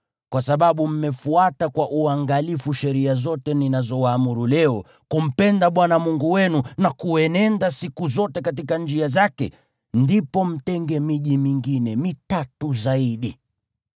kwa sababu mmefuata kwa uangalifu sheria zote ninazowaamuru leo, kumpenda Bwana Mungu wenu na kuenenda siku zote katika njia zake, ndipo mtenge miji mingine, mitatu zaidi.